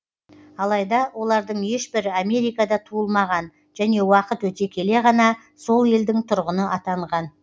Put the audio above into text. алайда олардың ешбірі америкада туылмаған және уақыт өте келе ғана сол елдің тұрғыны атанған